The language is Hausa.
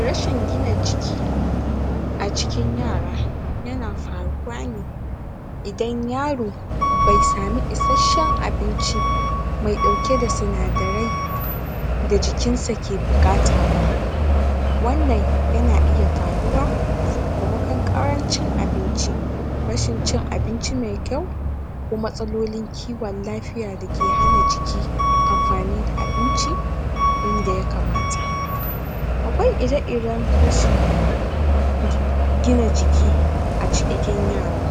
Rashin gina jiki a cikin yara yana faruwa ne idan yaro bai sami isasshen abinci mai ɗauke da sinadarai da jikinsa ke buƙata ba wannan yana iya faruwa sakamakon ƙarancin abinci rashin cin abinci mai kyau ko matsalolin kiwon lafiya dake hana jiki amfani da abinci yanda ya kamata. Akwai iri-iren. gina jiki a jikin yara.